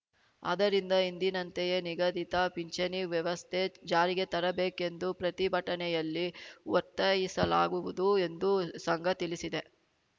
ಆದ್ದರಿಂದ ಹಿಂದಿನಂತೆಯೇ ನಿಗದಿತ ಪಿಂಚಣಿ ವ್ಯವಸ್ಥೆ ಜಾರಿಗೆ ತರಬೇಕೆಂದು ಪ್ರತಿಭಟನೆಯಲ್ಲಿ ಒತ್ತಾಯಿಸಲಾಗುವುದು ಎಂದು ಸಂಘ ತಿಳಿಸಿದೆ